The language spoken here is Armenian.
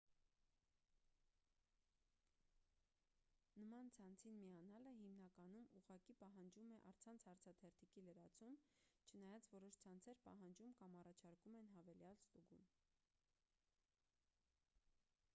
նման ցանցին միանալը հիմնականում ուղղակի պահանջում է առցանց հարցաթերթիկի լրացում չնայած որոշ ցանցեր պահանջում կամ առաջարկում են հավելյալ ստուգում